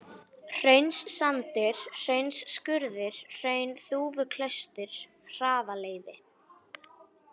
Hraunssandur, Hraunsskurður, Hraunþúfuklaustur, Hraðaleiði